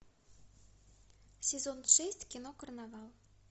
сезон шесть кино карнавал